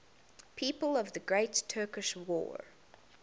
people of the great turkish war